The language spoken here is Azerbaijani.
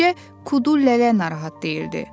Təkcə Kudulələ narahat deyildi.